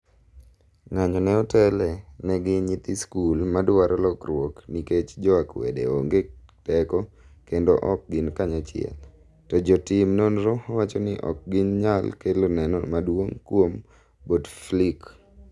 ng'anyo no otele ne gi nyithi skul ma dwaro lokruok ni kech jo akwede onge teko kendo ok gin kanyachiel. to jo tim nonro wacho ni ok gi nyal kelo neno maduong' kuom Bouteflike